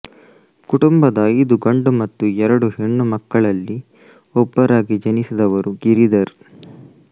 ಕುಟುಂಬದ ಐದು ಗಂಡು ಮತ್ತು ಎರಡು ಹೆಣ್ಣು ಮಕ್ಕಳಲ್ಲಿ ಒಬ್ಬರಾಗಿ ಜನಿಸಿದವರು ಗಿರಿಧರ್